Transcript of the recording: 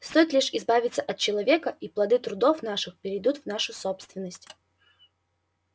стоит лишь избавиться от человека и плоды трудов наших перейдут в нашу собственность